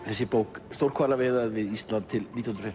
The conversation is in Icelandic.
þessi bók stórhvalaveiðar við Ísland til nítján hundruð